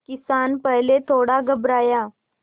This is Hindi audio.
किसान पहले थोड़ा घबराया